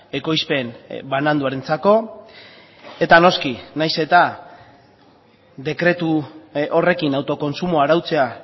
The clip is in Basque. ekoizpen bananduarentzako eta noski nahiz eta dekretu horrekin autokontsumoa arautzea